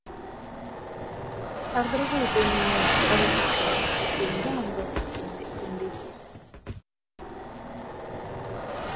тағдыры ғой деймін мен оны әкеткен әйтпегенде аңдаусыз сөнбес еді